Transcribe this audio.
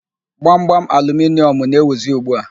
Gbamgbam aluminịọmụ na-ewuzi ugbu a.